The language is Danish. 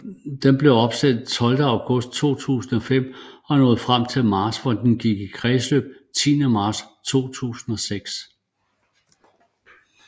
Den blev opsendt 12 august 2005 og nåede frem til Mars hvor den gik i kredsløb 10 marts 2006